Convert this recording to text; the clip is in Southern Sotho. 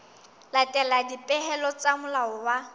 latela dipehelo tsa molao wa